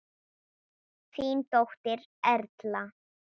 Þín dóttir, Erla.